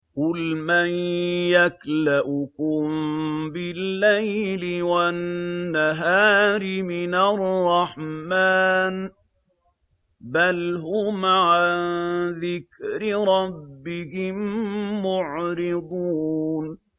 قُلْ مَن يَكْلَؤُكُم بِاللَّيْلِ وَالنَّهَارِ مِنَ الرَّحْمَٰنِ ۗ بَلْ هُمْ عَن ذِكْرِ رَبِّهِم مُّعْرِضُونَ